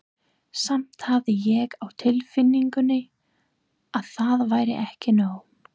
Samt hafði ég á tilfinningunni að það væri ekki nóg.